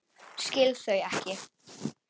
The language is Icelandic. Skil þau ekki.